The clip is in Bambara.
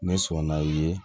Ne sɔnna i ye